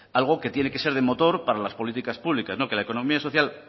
algo que tiene que ser de motor para las políticas públicas no que la economía social